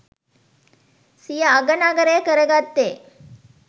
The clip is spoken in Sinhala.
සිය අගනගරය කරගත්තේ.